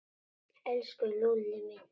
Elsku Lúlli minn.